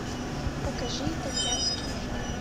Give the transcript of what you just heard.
покажи итальянские фильмы